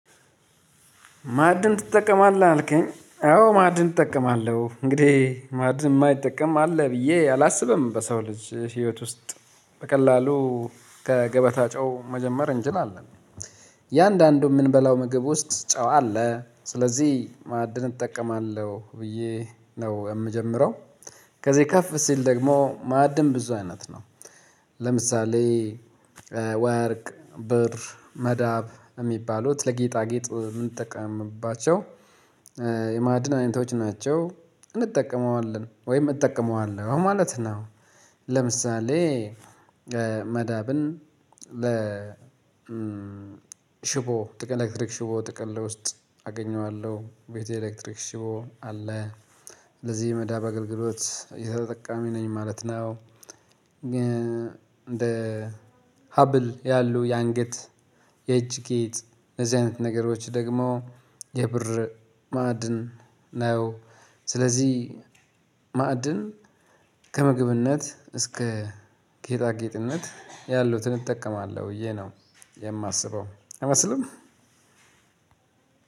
ማዕድን ትጠቀማለህ አልከኝ አዎ ማዕድን እጠቀማለሁ እንግዲህ ማዕድን የማይጠቀም አለ ብዬ አላስብም በሰው ልጅ ህይወት ውስጥ በቀላሉ ከገበታ ጨው መጀመር እንችላለን። የአንዳንዱ የምንበላው ምግብ ውስጥ ጨው አለ ስለዚህ ማዕድን እጠቀማለሁ ብዬ ነው እምጀምረው። ከዚህ ከፍ ሲል ደግሞ ማዕድን ብዙ አይነት ነው። ለምሳሌ ወርቅ ብር መዳብ የሚባሉት ለጌጣጌጥ ምንጠቀምባቸው። የማዕድን አይነቶች ናቸው እንጠቀመዋለን ወይም እጠቀመዋለሁ ማለት ነው። ለምሳሌ መዳብን ለ ሽቦ ጥቅል ኤሌክትሪክ ሽቦ ጥቅል ውስጥ አገኘዋለሁ ቤት የኤሌክትሪክ ሽቦ አለ ለዚህ የመዳብ አገልግሎት ተጠቃሚ ነኝ ማለት ነው። እንደ ሀብል ያሉ የአንገት የእጅ ጌጥ እዚህ አይነት ነገሮች ደግሞ የብር ማዕድን ነው። ስለዚህ ማዕድን ከምግብነት እስከ ጌጣጌጥነት ያሉትን እጠቀማለሁ ብዬ ነው የማስበው አይመስልም።